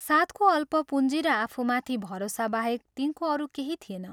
साथको अल्प पूँजी र आफूमाथि भरोसाबाहेक तिनको अरू केही थिएन।